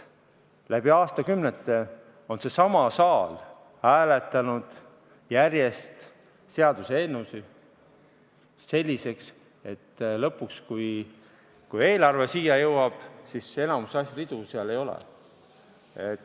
Läbi aastakümnete on seesama saal hääletanud järjest seaduseelnõusid selliseks, et lõpuks, kui eelarve siia jõuab, enamikku ridu seal ei ole.